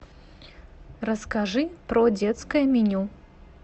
расскажи про детское меню